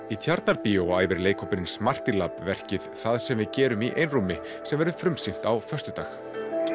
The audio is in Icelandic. í Tjarnarbíó æfir leikhópurinn verkið það sem við gerum í einrúmi sem verður frumsýnt á föstudag